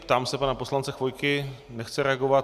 Ptám se pana poslance Chvojky - nechce reagovat.